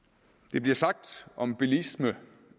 der bliver sagt om bilisme